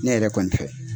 Ne yɛrɛ kɔni fɛ